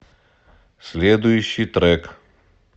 следующий трек